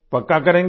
पक्का करेंगे